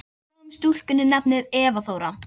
Askja, heyrðu í mér eftir fimmtíu og eina mínútur.